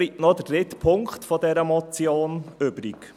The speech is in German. Es bleibt noch der dritte Punkt dieser Motion übrig.